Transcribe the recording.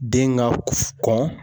Den ka kɔn.